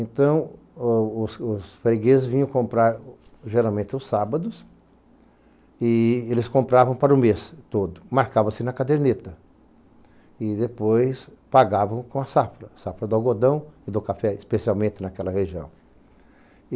Então os os os fregueses vinham comprar geralmente os sábados e eles compravam para o mês todo, marcava-se na caderneta e depois pagavam com a safra, safra do algodão e do café, especialmente naquela região.